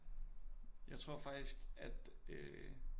Jeg tror faktisk at øh